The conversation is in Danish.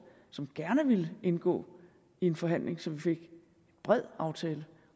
som gerne ville indgå i en forhandling så vi fik en bred aftale